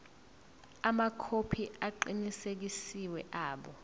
amakhophi aqinisekisiwe abo